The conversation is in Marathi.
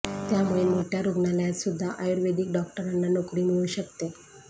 त्यामुळे मोठ्या रुग्णालयात सुद्धा आयुर्वेदिक डॉक्टरांना नोकरी मिळू शकते